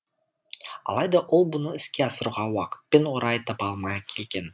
алайда ол бұны іске асыруға уақыт пен орай таба алмай келген